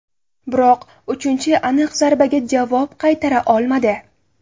Biroq uchinchi aniq zarbaga javob qaytara olmadi.